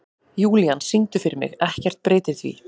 Júlían, syngdu fyrir mig „Ekkert breytir því“.